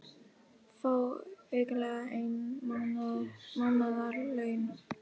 Fá aukalega ein mánaðarlaun